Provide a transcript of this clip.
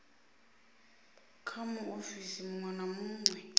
kha muofisi munwe na munwe